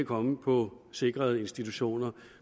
komme på sikrede institutioner